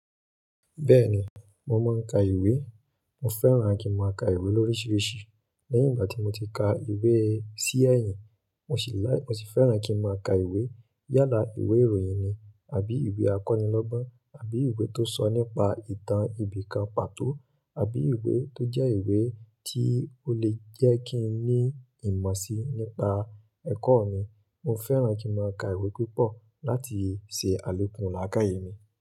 Bẹ́ẹ̀ni, mo máa ń ka ìwé. Mo fẹ́ràn kí n máa ka ìwé lóríṣiríṣi. Lẹ́yìn ìgbà tí mo ti ka ìwé sí ẹ̀yìn, mo sì láì, mo sì fẹ́ràn kí n máa ka ìwé yálà ìwé ìròyìn ni àbí ìwé àkọ́nilọ́gbọ́n àbí ìwé tó sọ nípa ìtàn ibìkan pàtó àbí ìwé tó jẹ́ ìwé tí ó lè jẹ́ kí n ní ìmọ̀ sí nípa ẹ̀kọ́ mi. Mo fẹ́ràn kí n máa ka ìwé púpọ̀ láti ṣe àlòkùn làákàyè mi.